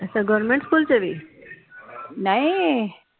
ਅੱਛਾ government school ਵਿਚ ਵੀ